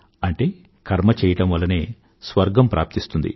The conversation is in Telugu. అంటే కర్మ చెయ్యడం వల్లనే స్వర్గం ప్రాప్తిస్తుంది